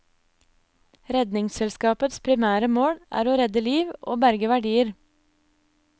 Redningsselskapets primære mål er å redde liv og å berge verdier.